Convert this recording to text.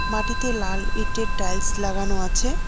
মাটিতে লাল ইটের টাইলস লাগানো আছে।